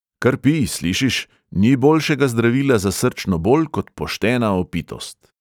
“kar pij, slišiš, ni boljšega zdravila za srčno bol kot poštena opitost.”